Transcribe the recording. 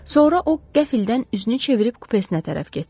Sonra o qəflətən üzünü çevirib kupesinə tərəf getdi.